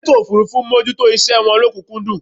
àwọn elétò òfurufú ń mójútó iṣẹ wọn lọ́kùnkúndùn